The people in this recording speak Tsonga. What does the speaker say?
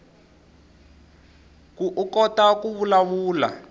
koukota ku vulavula